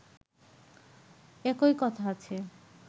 একই কথা আছে